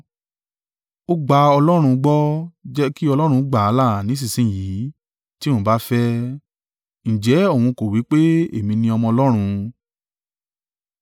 Ó gba Ọlọ́run gbọ́, jẹ́ kí Ọlọ́run gbà á là ní ìsinsin yìí tí òun bá fẹ́ ẹ. Ǹjẹ́ òun kò wí pé, èmi ni Ọmọ Ọlọ́run?”